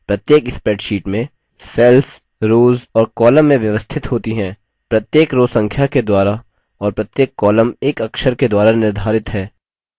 प्रत्येक spreadsheet में cells rows और columns में व्यवस्थित होती हैं प्रत्येक rows संख्या के द्वारा और प्रत्येक columns एक अक्षर के द्वारा निर्धारित है